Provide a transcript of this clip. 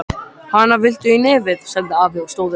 Hana, viltu í nefið? sagði afi og stóð upp.